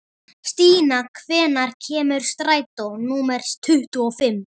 Stína, hvenær kemur strætó númer tuttugu og fimm?